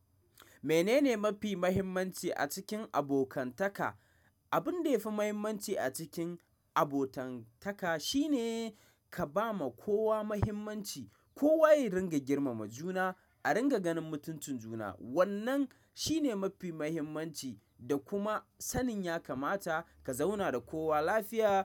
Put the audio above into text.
Menene mafi muhimmanci a cikin abokantaka? Abin da yafi muhimmanci a cikin abokantaka shine ka ba ma kowa mahimmanci, kowa yayi ringa girmama juna, a ringa ganin mutuncin juna. Wannan shine mafi muhimmanci da kuma sanin ya kamata ka zauna da kowa lafiya.